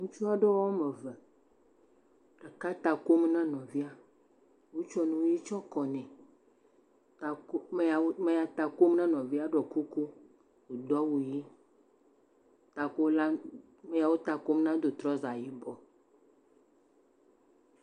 Ŋutsu aɖewo ame eve. Ɖeka ta kom na nɔvia. Wotsɔ nu ʋi tsɔ kɔ nɛ. Ame ya ta kom ne nɔvia ɖɔ kuku, wodo awu ʋi. Amea wo ta kom na do trɔza yibɔ.